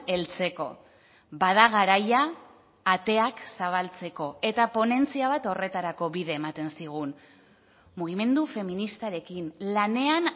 heltzeko bada garaia ateak zabaltzeko eta ponentzia bat horretarako bide ematen zigun mugimendu feministarekin lanean